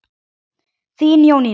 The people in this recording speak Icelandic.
Þín Jónína.